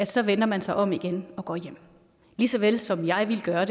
så vender man sig om igen og går hjem lige såvel som jeg ville gøre